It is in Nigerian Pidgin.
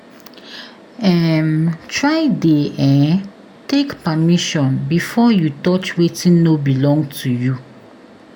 um Try de um take permission before you touch wetin no belong to you